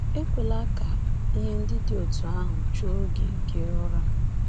Ekwela ka ihe ndị dị otú ahụ chụo gị gị ụra.